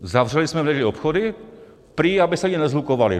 Zavřeli jste v neděli obchody, prý aby se lidi neshlukovali.